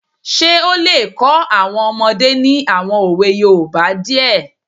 Ṣé ó lè kọ́ àwọn ọmọdé ní àwọn òwe yoòbá díẹ̀?